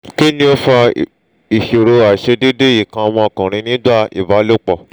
kí ni ó fa ìṣòro aisedede ikan omo okunrin nígbà ìbálòpọ̀?